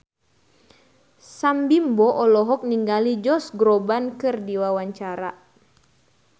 Sam Bimbo olohok ningali Josh Groban keur diwawancara